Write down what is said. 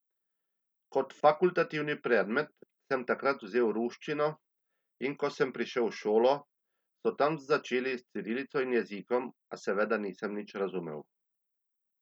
Kot fakultativni predmet sem takrat vzel ruščino in ko sem prišel v šolo, so tam že začeli s cirilico in jezikom, a seveda nisem nič razumel.